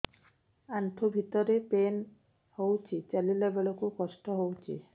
ଆଣ୍ଠୁ ଭିତରେ ପେନ୍ ହଉଚି ଚାଲିଲା ବେଳକୁ କଷ୍ଟ ହଉଚି